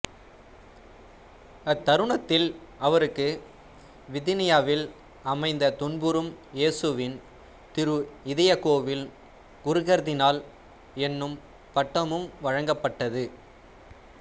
அத்தருணத்தில் அவருக்கு வித்தீனியாவில் அமைந்த துன்புறும் இயேசுவின் திரு இதயக்கோவில் குருகர்தினால் என்னும் பட்டமும் வழங்கப்பட்டது